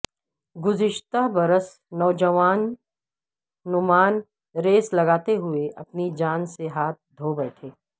گزشتہ برس نوجوان نعمان ریس لگاتے ہوئے اپنی جان سے ہاتھ دھو بیٹھے